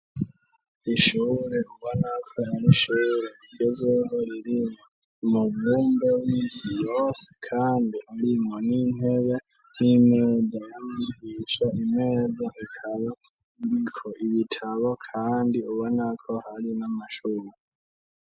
Ishure uba nako arishere gezogoririre umugumbo w'isiyosi, kandi arimwo n'intere n'imezayica imeza ikaba iko ibitabo, kandi uba nako hari n'amashuri.